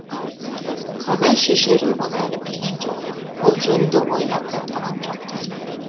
қалай шешерін бұл әлі білген жоқ ол жөнінде ойлап та тұрған жоқ ты